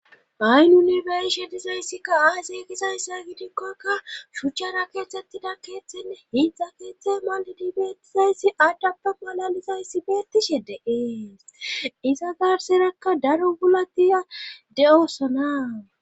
Bayn unibershe dizayssikka aysey kizayssa gidikkokka shuchchara keetthettida keeththenne hiidzdza keeththey malidi beettizayssi addappe balalizayssi beettishe deees iza garserekka daro gulatiya de7osonaa